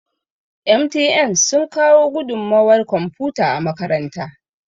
MTN sun kawo gudunmawar kwamfuta a makaranta